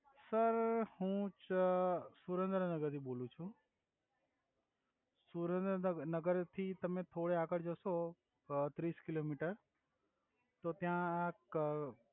sir હુ ચ સુરેંદ્રનગર થી બોલુ છુ સુરેંદ્રનગર થી તમે થોડા આગે જસો ત્રિસ કિલોમિટર તો ત્યા અ